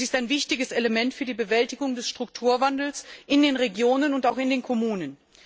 Es ist ein wichtiges Element für die Bewältigung des Strukturwandels in den Regionen und auch in den Kommunen.